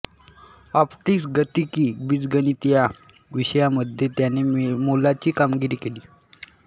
optics गतिकी बीजगणित या विषयांमध्ये त्याने मोलाची कामगिरी केली